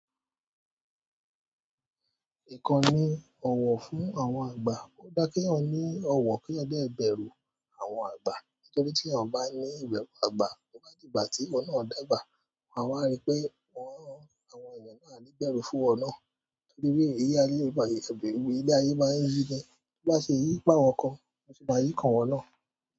Ìkàn nì ọ̀wọ̀ fún àwọn àgbà. Ó dá kí ènìyàn ní ọ̀wọ̀ kí ọ̀dẹ́ bẹ̀rù àwọn àgbà. Nítorí tí eyan bá ní ìbẹ̀rù àgbà, togbà di ìgbà tí iwo nà dàgbà, awá rí pé àwọn èèyàn náà àní bẹ̀rù fún iwo nà. Nítorí bí ilé ayé se ri, ilé ayé ma ń yí gan. Bí ó bá ṣe yí fún àwọn kan, àtún máa yí kan ìwọ náá.